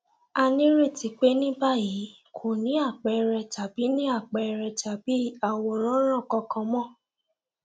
a nireti pé ní báyìí kò ní àpẹẹrẹ tàbí ní àpẹẹrẹ tàbí àwòránràn kankan mọ